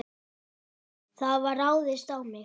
Það var ráðist á mig.